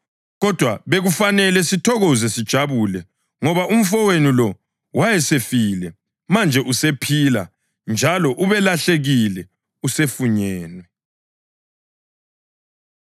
Kodwa bekufanele sithokoze sijabule ngoba umfowenu lo wayesefile, manje usephila njalo; ubelahlekile, usefunyenwe.’ ”